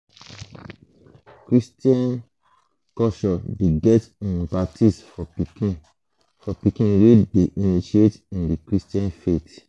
christain culture de get um baptism for pikin for pikin wey de initiate in the christian faith